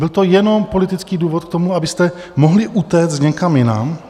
Byl to jenom politický důvod k tomu, abyste mohli utéct někam jinam.